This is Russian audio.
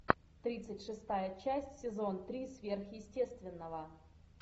тридцать шестая часть сезон три сверхъестественного